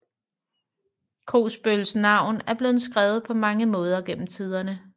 Kogsbøls navn er blevet skrevet på mange måder gennem tiderne